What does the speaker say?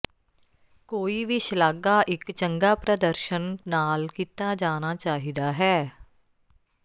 ਕੋਈ ਵੀ ਸ਼ਲਾਘਾ ਇੱਕ ਚੰਗਾ ਪ੍ਰਦਰਸ਼ਨ ਨਾਲ ਕੀਤਾ ਜਾਣਾ ਚਾਹੀਦਾ ਹੈ